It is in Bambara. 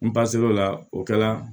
N pasi o la o kɛla